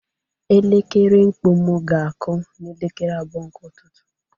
Elekere mkpu m ga-akụ n'elekere abụọ nke ụtụtụ